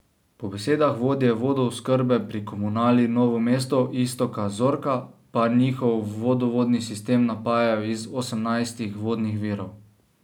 Po besedah vodje vodooskrbe pri Komunali Novo mesto Istoka Zorka pa njihov vodovodni sistem napajajo iz osemnajstih vodnih virov.